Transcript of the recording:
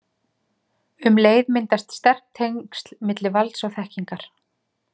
Um leið myndast sterk tengsl milli valds og þekkingar.